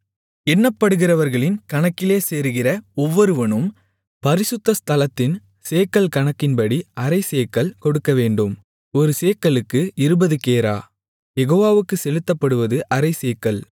எண்ணப்படுகிறவர்களின் கணக்கிலே சேருகிற ஒவ்வொருவனும் பரிசுத்த ஸ்தலத்தின் சேக்கல் கணக்கின்படி அரைச்சேக்கல் கொடுக்கவேண்டும் ஒரு சேக்கலுக்கு இருபது கேரா யெகோவாவுக்குச் செலுத்தப்படுவது அரைச்சேக்கல்